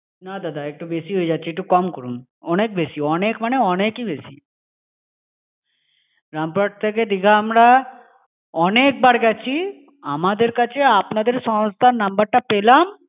না দাদা! একটু বেশি হয়ে যাচ্ছে, একটু কম করুন। অনেক বেশি, অনেক মানে অনেক-ই বেশি, রামপুরহাট থেকে দিঘা আমরা অনেক বার গেছি। আমাদের কাছে আপনাদের সংস্থার নম্বরটা পেলাম।